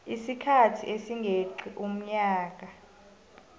isikhathi esingeqi umnyaka